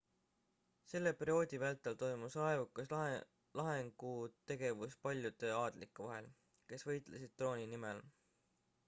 selle perioodi vältel toimus raevukas lahingutegevus paljude aadlike vahel kes võitlesid trooni nimel